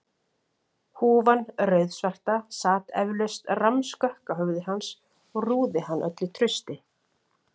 Húfan rauðsvarta sat eflaust rammskökk á höfði hans og rúði hann öllu trausti.